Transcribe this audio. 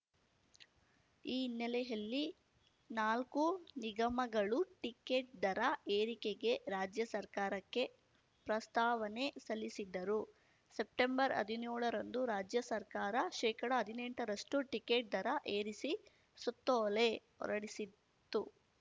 ಈ ಹಿನ್ನೆಲೆಯಲ್ಲಿ ನಾಲ್ಕು ನಿಗಮಗಳು ಟಿಕೆಟ್‌ ದರ ಏರಿಕೆಗೆ ರಾಜ್ಯ ಸರ್ಕಾರಕ್ಕೆ ಪ್ರಸ್ತಾವನೆ ಸಲ್ಲಿಸಿದ್ದರು ಸೆಪ್ಟೆಂಬರ್ಹದ್ನ್ಯೋಳರಂದು ರಾಜ್ಯ ಸರ್ಕಾರ ಶೇಕಡಅದಿನೆಂಟರಷ್ಟುಟಿಕೆಟ್‌ ದರ ಏರಿಸಿ ಸುತ್ತೋಲೆ ಹೊರಡಿಸಿತ್ತು